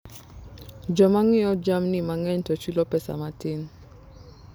Joma ng'iewo jamni mang'eny to chulo pesa matin.